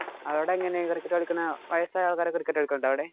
അവിടെ എങ്ങനാ വയസായ ആള്‍ക്കാരോക്കെ cricket കളിക്കണുണ്ടോ അവിടെ?